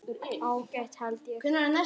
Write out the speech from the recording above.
Ágætt held ég.